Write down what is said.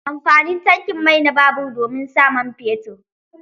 Amfanin tankin mai na babur domin sa man fetur.